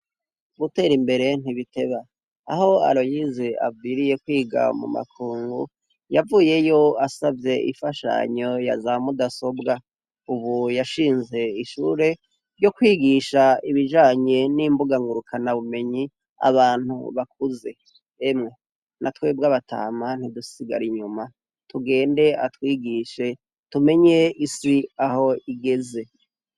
Giter'imbere ntibiteba aho aroyize aviriye kwiga mu makungu ,yavuyeyo asavye imfashanyo yaza mudasobwa, ubu yashinze ishure ryo kwigisha ibijanye n'imbuga ngurukana bumenyi abantu bakuze, yemwe natwebw abatama ntidusigar'inyuma tugende atwigishz tumenye isi aho igeze.